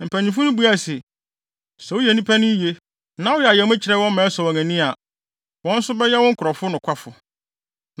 Mpanyimfo yi buae se, “Sɛ woyɛ nnipa no yiye, na woyɛ ayamye kyerɛ wɔn ma ɛsɔ wɔn ani a, wɔn nso bɛyɛ wo nkurɔfo nokwafo.”